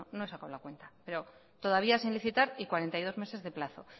no he sacado la cuenta pero todavía sin licitar y cuarenta y dos meses de plazo